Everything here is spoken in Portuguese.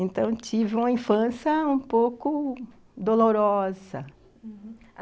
Então, tive uma infância um pouco dolorosa, uhum.